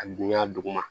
A dunya duguma